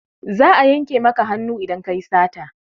Za a yanke maka hannu idan ka yi sata.